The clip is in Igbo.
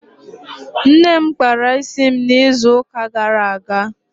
Nne m kpara isi m n'izu ụka gara aga